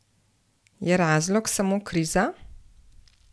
Je razlog samo kriza?